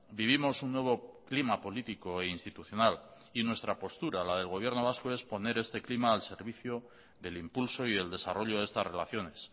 vivimos un nuevo clima político e institucional y nuestra postura la del gobierno vasco es poner este clima al servicio del impulso y el desarrollo de estas relaciones